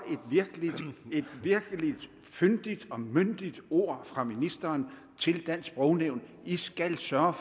et virkelig fyndigt og myndigt ord fra ministeren til dansk sprognævn i skal sørge